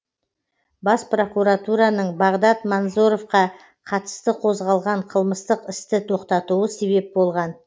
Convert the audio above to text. бас прокуратураның бағдат манзоровқа қатысты қозғалған қылмыстық істі тоқтатуы себеп болған